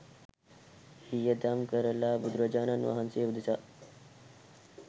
වියදම් කරලා බුදුරජාණන් වහන්සේ උදෙසා